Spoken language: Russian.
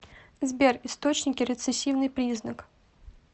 сбер источники рецессивный признак